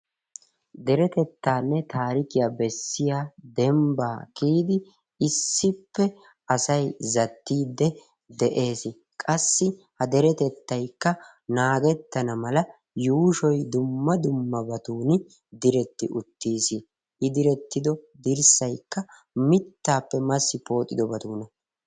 deretettanne taarikiya bessiya dembba kiyidi issippe asay zattide de'ees. qassi ha deetetaykka naagetanna mala yuushshoy diretti uttiis, qassi I direttido dirshsaykka mittappe pooxxidobatunna